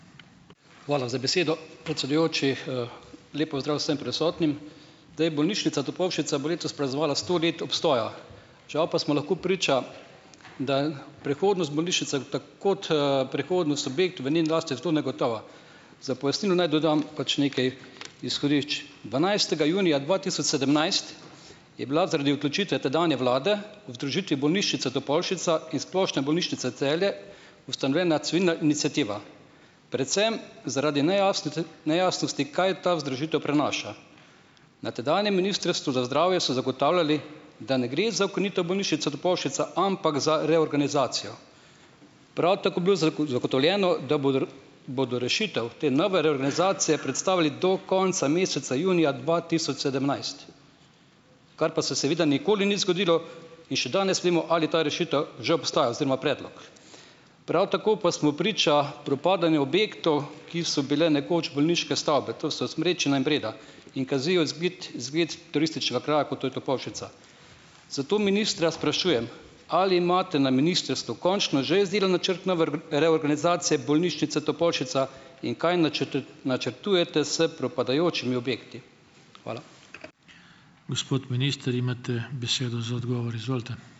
Hvala za besedo, predsedujoči, Lep pozdrav vsem prisotnim. Zdaj, Bolnišnica Topolšica bo letos praznovala sto let obstoja, žal pa smo lahko priča, da prihodnost bolnišnice kot, prihodnost objektov v njeni lasti je zelo negotova. Za pojasnilo naj dodam pač nekaj izhodišč. Dvanajstega junija dva tisoč sedemnajst je bila zaradi odločitve tedanje vlade o združitvi Bolnišnice Topolšica in Splošne bolnišnice Celje ustanovljena civilna iniciativa, predvsem zaradi nejasnosti, kaj ta združitev prenaša. Na tedanjem Ministrstvu za zdravje so zagotavljali, da ne gre za ukinitev Bolnišnice Topolšica, ampak za reorganizacijo. Prav tako bilo zagotovljeno, da bodo rešitev te nove reorganizacije predstavili do konca meseca junija dva tisoč sedemnajst, kar pa se seveda nikoli ni zgodilo, in še danes vemo, ali ta rešitev že obstaja, oziroma predlog. Prav tako pa smo priča propadanju objektov, ki so bili nekoč bolniške stavbe, to so Smrečina in Breda in kazijo izgled izgled turističnega kraja, kot to je Topolšica. Zato ministra sprašujem, ali imate na ministrstvu končno že izdelan načrt reorganizacije Bolnišnice Topolšica in kaj načrtujete s propadajočimi objekti. Hvala.